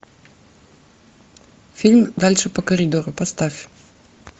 фильм дальше по коридору поставь